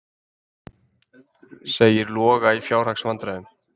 Segir Loga í fjárhagsvandræðum